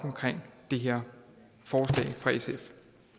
det her forslag fra sf